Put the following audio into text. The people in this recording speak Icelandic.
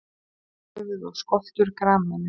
Höfuð og skoltur grameðlu.